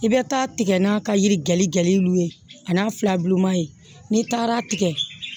I bɛ taa tigɛ n'a ka yiri geligɛlɛli ye a n'a filabuluman ye n'i taara tigɛ